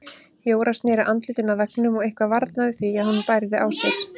Jóra sneri andlitinu að veggnum og eitthvað varnaði því að hún bærði á sér.